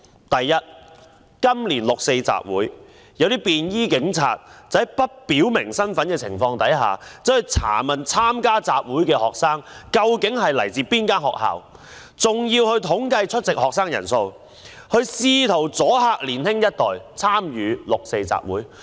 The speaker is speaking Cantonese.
第一，今年六四集會，一些便衣警察在不表明身份的情況下，查問參加集會的學生來自哪間學校，更統計出席學生的人數，試圖阻嚇年輕一代參與六四集會。